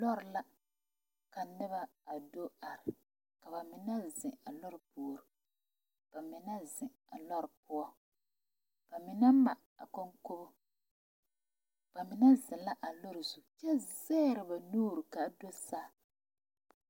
Lɔre la ka noba a do are ka ba mine zeŋ a lɔre puori ba mine zeŋ a lɔre poɔ ba mine ma a kɔnkɔnbu ba mine zeŋ la a lɔre zu kyɛ zagre ba nuure kaa do saa.